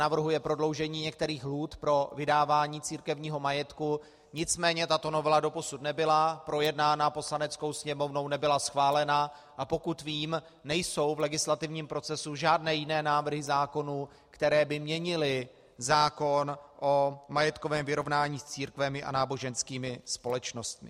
Navrhuje prodloužení některých lhůt pro vydávání církevního majetku, nicméně tato novela doposud nebyla projednána Poslaneckou sněmovnou, nebyla schválena, a pokud vím, nejsou v legislativním procesu žádné jiné návrhy zákonů, které by měnily zákon o majetkovém vyrovnání s církvemi a náboženskými společnostmi.